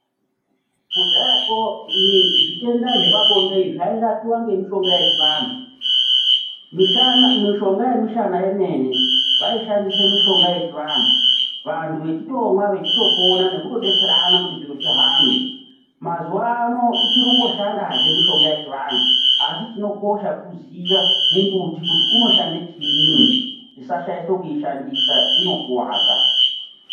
Kudhayakwo zvitenda zvepabonde zvairapiwa ngemishonga yechivantu, mishonga yemishana yemene vaishandise mishonga yechivantu, vantu vechitomwa vechitopona nekutodetserana kuti zviro zvihambe ,mazuwano ichiri kungoshandazve mishonga yechivantu asi chinokosha kuziye mumbuti kuti unoshande chinyini tisashaishe kuishandisa inokuwadza.